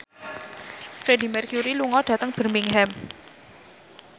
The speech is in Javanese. Freedie Mercury lunga dhateng Birmingham